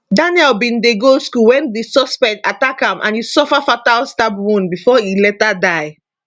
daniel bin dey go school wen di suspect attack am and e suffer fatal stab wound bifor e later die